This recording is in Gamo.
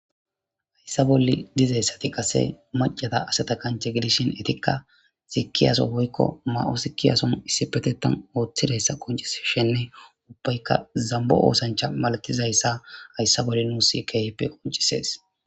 Hayssa bolle dizeyssati qase macata aseta kanche gidishin etikka sikiyaso woykko ma7o sikiyason issi pete tan ooththidayssa qoncis shenne uppaykka zambo oosancha malatizayssa hayssa bolle nuus keeheppe qoncisees